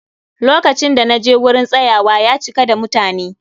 Lokacin da naje wurin tsayawa, ya cika da mutani